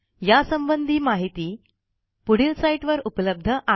यासंबंधी माहिती पुढील साईटवर उपलब्ध आहे